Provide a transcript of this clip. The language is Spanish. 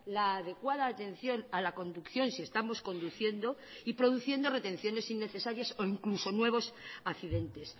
la adecuada atención a la conducción si estamos conduciendo y produciendo retenciones innecesarias o incluso nuevos accidentes